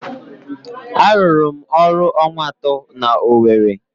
Arụrụ m ọrụ ọnwa atọ n'Owere.